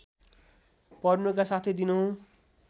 पर्नुका साथै दिनहुँ